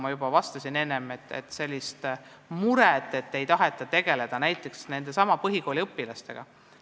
Ma juba mainisin muret, et ei taheta tegeleda näiteks nendesamade põhikooliõpilastega.